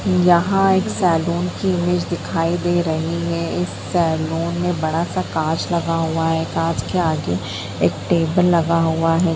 यहाँ एक सेलून की इमेज दिखाई दे रही है इस सेलून मे बड़ा सा काँच लगा हुआ है काँच के आगे एक टेबल लगा हुआ है।